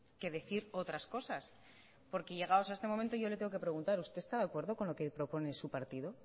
que decir otras cosas porque llegados a este momento yo le tengo que preguntar usted está de acuerdo con lo que propone su partido